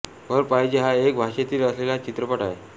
वर पाहिजे हा एक भाषेतील असलेला चित्रपट आहे